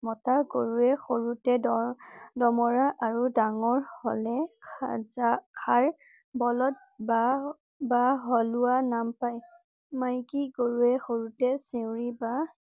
মতা গৰুৱে সৰুতে দৰ~দমৰা আৰু ডাঙৰ হ'লে সাজা~হাৰ বলদ বা~বা সলোৱা নাম পাই। মাইকী গৰুৱে সৰুতে চেউৰি বা